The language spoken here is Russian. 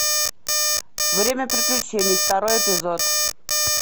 время приключений второй эпизод